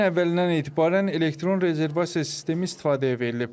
Bu ayın əvvəlindən etibarən elektron rezervasiya sistemi istifadəyə verilib.